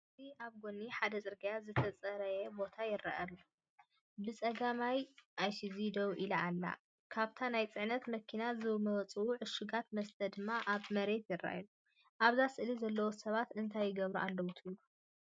ኣብዚ ኣብ ጎኒ ሓደ ጽርግያ ዝተጸረየ ቦታ ይርአ። ብጸጋም ኢሱዙ ደው ኢላ ኣላ፡ ካብታ ናይ ጽዕነት መኪና ዝመጹ ዕሹጋት መስተ ድማ ኣብ መሬት ይረኣዩ። ኣብዛ ስእሊ ዘለዉ ሰባት እንታይ ይገብሩ ኣለዉ ትብሉ?